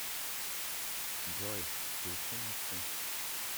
джой включи на всю